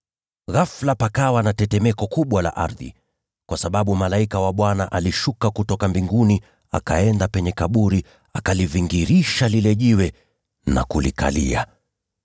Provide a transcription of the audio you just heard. Ghafula, pakawa na tetemeko kubwa la ardhi, kwa sababu malaika wa Bwana alishuka kutoka mbinguni, akaenda penye kaburi, akalivingirisha lile jiwe na kulikalia.